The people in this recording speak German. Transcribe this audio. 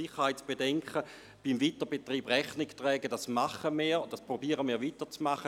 Den Sicherheitsbedenken beim Weiterbetrieb Rechnung zu tragen, ist etwas, das wir bereits tun und weiterhin zu tun versuchen.